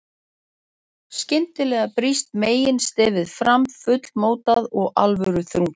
Skyndilega brýst meginstefið fram, fullmótað og alvöruþrungið.